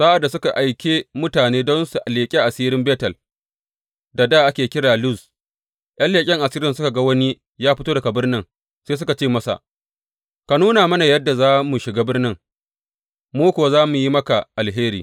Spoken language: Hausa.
Sa’ad da suka aike mutane don su leƙi asirin Betel da dā ake kira Luz, ’yan leƙen asirin suka ga wani ya fito daga birnin sai suka ce masa, Ka nuna mana yadda za mu shiga birnin, mu kuwa za mu yi maka alheri.